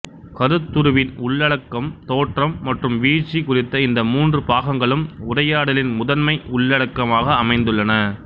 கருத்துருவின் உள்ளடக்கம் தோற்றம் மற்றும் வீழ்ச்சி குறித்த இந்த மூன்று பாகங்களும் உரையாடலின் முதன்மை உள்ளடக்கமாக அமைந்துள்ளன